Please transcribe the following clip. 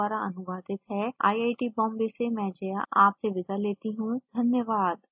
यह स्क्रिप्ट विकास द्वारा अनुवादित है आईआईटी बॉम्बे से में जया आपसे विदा लेती हूँ धन्यवाद